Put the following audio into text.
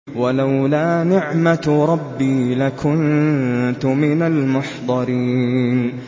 وَلَوْلَا نِعْمَةُ رَبِّي لَكُنتُ مِنَ الْمُحْضَرِينَ